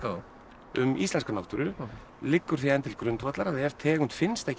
um íslenska náttúru liggur því enn til grundvallar að ef tegund finnst ekki í þessum